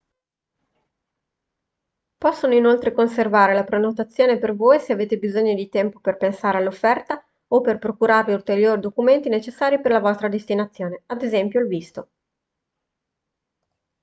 possono inoltre conservare la prenotazione per voi se avete bisogno di tempo per pensare all’offerta o per procurarvi ulteriori documenti necessari per la vostra destinazione ad es. il visto